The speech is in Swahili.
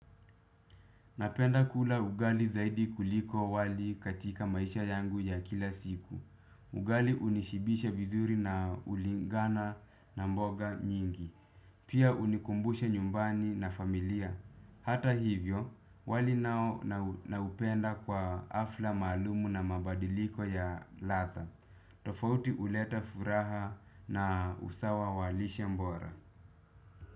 Napenda kula ugali zaidi kuliko wali katika maisha yangu ya kila siku. Ugali unishibisha vizuri na ulingana na mboga nyingi. Pia unikumbushe nyumbani na familia. Hata hivyo, wali nao naupenda kwa hafla maalum na mabadiliko ya ladha. Tofauti huleta furaha na usawa wa lishe bora.